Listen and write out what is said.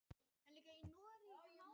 Heinrekur, hækkaðu í græjunum.